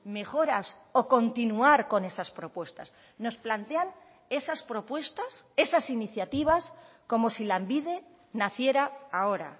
mejoras o continuar con esas propuestas nos plantean esas propuestas esas iniciativas como si lanbide naciera ahora